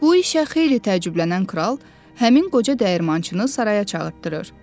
Bu işə xeyli təəccüblənən kral həmin qoca dəyirmançını saraya çağırtdırır.